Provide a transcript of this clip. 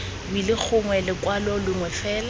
wili gongwe lekwalo lengwe fela